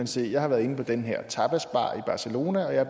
se at jeg har været inde på den her tapasbar i barcelona og at jeg